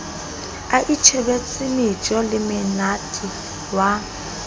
a itjhebetse mejo lemmethe wa